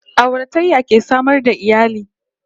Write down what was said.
Auratayya ke samar da iyali